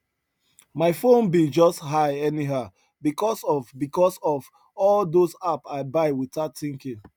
my phone bill just high anyhow because of because of all those app i buy without thinking